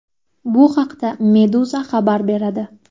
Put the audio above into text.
Bu haqda Meduza xabar beradi .